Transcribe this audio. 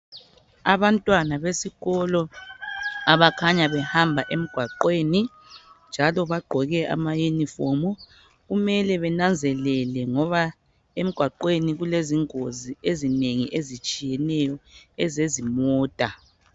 Abantwana besikolo ,abakhanya behamba emgwaqweni .Njalo bagqoke amayunifomu, kumele benanzelele ngoba emgwaqweni kulezingozi ezinengi ezitshiyeneyo ezezimota.